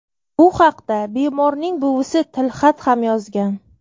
Bu haqda bemorning buvisi tilxat ham yozgan.